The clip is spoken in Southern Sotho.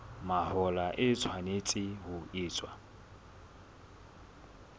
mahola e tshwanetse ho etswa